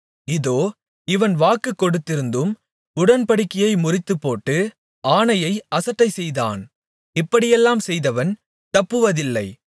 இதோ இவன் வாக்கு கொடுத்திருந்தும் உடன்படிக்கையை முறித்துப்போட்டு ஆணையை அசட்டைசெய்தான் இப்படியெல்லாம் செய்தவன் தப்புவதில்லை